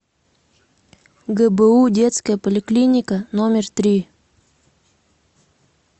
гбу детская поликлиника номер три